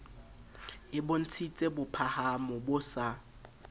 e bontshitse bophahamo bo sa